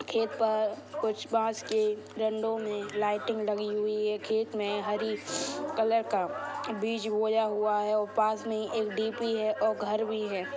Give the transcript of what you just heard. खेत पर कुछ बांस के डंडों मे लाइटिंग लगी हुई हैं। खेत मे हरी कलर का बीज बोया हुआ है और पास मे ही एक डीपी है और घर भी है।